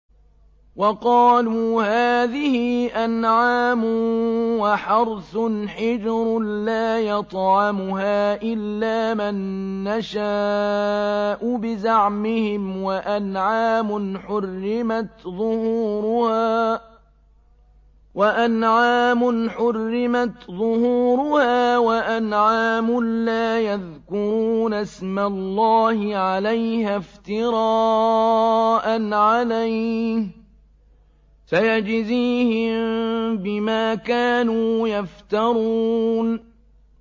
وَقَالُوا هَٰذِهِ أَنْعَامٌ وَحَرْثٌ حِجْرٌ لَّا يَطْعَمُهَا إِلَّا مَن نَّشَاءُ بِزَعْمِهِمْ وَأَنْعَامٌ حُرِّمَتْ ظُهُورُهَا وَأَنْعَامٌ لَّا يَذْكُرُونَ اسْمَ اللَّهِ عَلَيْهَا افْتِرَاءً عَلَيْهِ ۚ سَيَجْزِيهِم بِمَا كَانُوا يَفْتَرُونَ